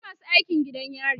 akwai masu aikin gidan yari